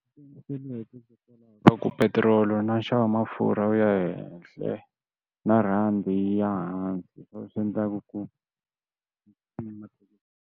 Ku petiroli na nxavo wa mafurha wu ya ehehla na rhandi yi ya hansi ka u swi endlaku ku tlula mathekisi.